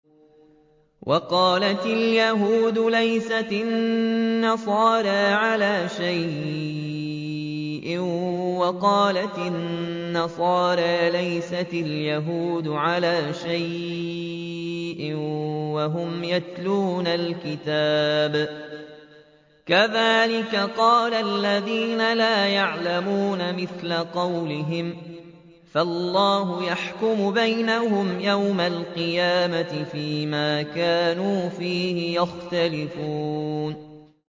وَقَالَتِ الْيَهُودُ لَيْسَتِ النَّصَارَىٰ عَلَىٰ شَيْءٍ وَقَالَتِ النَّصَارَىٰ لَيْسَتِ الْيَهُودُ عَلَىٰ شَيْءٍ وَهُمْ يَتْلُونَ الْكِتَابَ ۗ كَذَٰلِكَ قَالَ الَّذِينَ لَا يَعْلَمُونَ مِثْلَ قَوْلِهِمْ ۚ فَاللَّهُ يَحْكُمُ بَيْنَهُمْ يَوْمَ الْقِيَامَةِ فِيمَا كَانُوا فِيهِ يَخْتَلِفُونَ